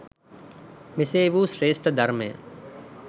මෙසේ වූ ශ්‍රේෂ්ඨ ධර්මය